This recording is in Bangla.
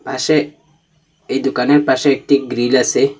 পাশে এই দুকানের পাশে একটি গ্রীল আসে।